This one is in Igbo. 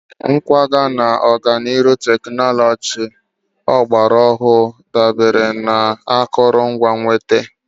Nkwaga na ọganihu teknụzụ ọgbara ọhụrụ dabere na akụrụngwa ịnweta.